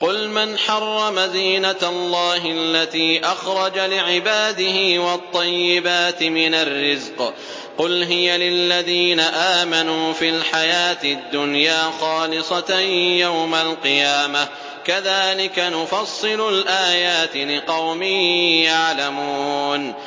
قُلْ مَنْ حَرَّمَ زِينَةَ اللَّهِ الَّتِي أَخْرَجَ لِعِبَادِهِ وَالطَّيِّبَاتِ مِنَ الرِّزْقِ ۚ قُلْ هِيَ لِلَّذِينَ آمَنُوا فِي الْحَيَاةِ الدُّنْيَا خَالِصَةً يَوْمَ الْقِيَامَةِ ۗ كَذَٰلِكَ نُفَصِّلُ الْآيَاتِ لِقَوْمٍ يَعْلَمُونَ